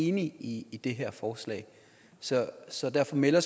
enig i det her forslag så så derfor melder